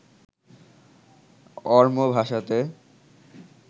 Oromo ভাষাতে